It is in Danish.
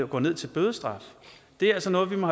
går ned til bødestraf det er altså noget vi må